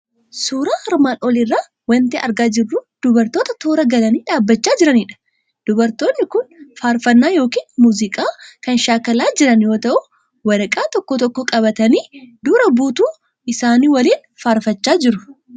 Suuraan armaan olii irraa waanti argaa jirru dubartoota toora galanii dhaabbachaa jiranidha. Dubartoonni kun faarfannaa yookiin muuziqaa kan shaakalaa jiran yoo ta'u, waraqaa tokko tokko qabatanii, dura buutuu isaanii waliin faarfachaa jiru.